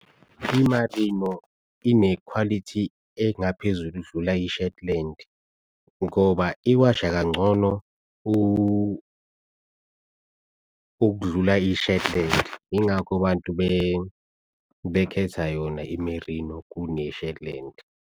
I-marino inekhwalithi engaphezulu ukudlula i-shetland ngoba iwasha kangcono ukudlula i-shetland. Yingakho bantu bekhetha yona i-merino kune shetland.